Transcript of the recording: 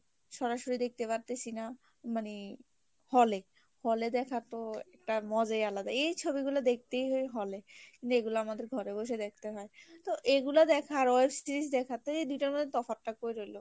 মানে hall এ hall এ দেখার তো একটা মজাই আলাদা, এই ছবিগুলো দেখতেই হয় hall এ যেগুলা আমাদের ঘরে বসে দেখতে হয় তো এগুলা দেখা আর web series দেখা তো এই দুইটার মধ্যে তফাৎ টা কই রইলো?